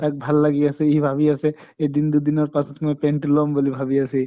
তাক ভাল লাগি আছে সি ভাবি আছে এদিন দুদিনৰ পাছত মই pant টো লম বুলি ভাবি আছে সি